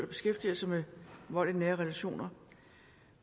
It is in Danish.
beskæftiger sig med vold i nære relationer